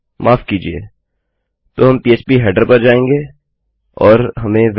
माफ़ कीजिये तो हम पह्प हेडर पर जाएँगे और हमें Welcome